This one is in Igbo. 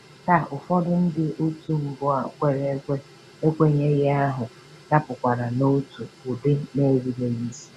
Taa, ụfọdụ ndị otu mbụ kwere ekwe ekwenye ahụ dapụkwara n’otu ụdị nà-erubeghị isi.